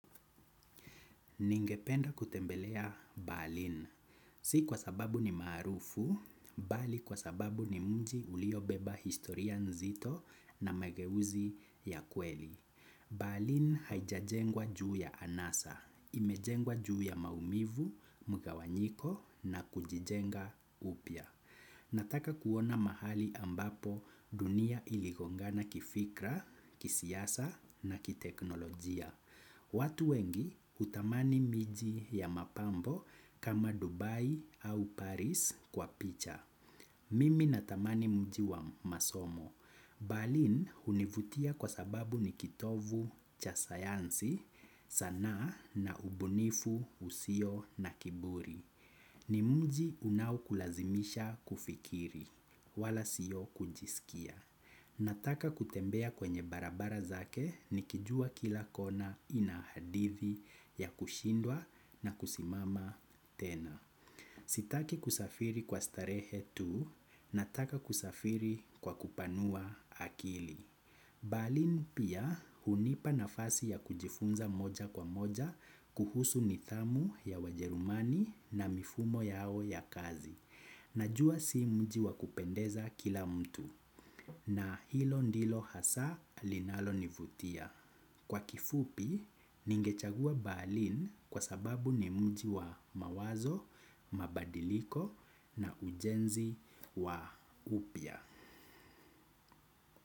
Ningependa kutembelea berlin. Si kwa sababu ni maarufu, bali kwa sababu ni mji uliobeba historia nzito na mageuzi ya kweli. Berlin haijajengwa juu ya anasa, imejengwa juu ya maumivu, mgawanyiko na kujijenga upya. Nataka kuona mahali ambapo dunia iligongana kifikra, kisiasa na kiteknolojia. Watu wengi hutamani miji ya mapambo kama Dubai au Paris kwa picha. Mimi na tamani mji wa masomo. Berlin hunivutia kwa sababu ni kitovu cha sayansi sana na ubunifu usio na kiburi. Ni mji unaokulazimisha kufikiri wala sio kujisikia. Nataka kutembea kwenye barabara zake nikijua kila kona ina hadithi ya kushindwa na kusimama tena. Sitaki kusafiri kwa starehe tu, nataka kusafiri kwa kupanua akili. Berlin pia hunipa nafasi ya kujifunza moja kwa moja kuhusu nidhamu ya ujerumani na mifumo yao ya kazi. Najua si mji wa kupendeza kila mtu. Na hilo ndilo hasa linalonivutia. Kwa kifupi, ningechagua berlin kwa sababu ni mji wa mawazo, mabadiliko na ujenzi wa upya.